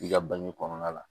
I ka bange kɔnɔna la